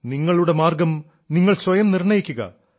നിങ്ങളുടെ മാർഗ്ഗം നിങ്ങൾ സ്വയം നിർണ്ണയിക്കുക